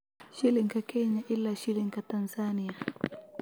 Shilinka Kenya ilaa Shilinka Tansaaniya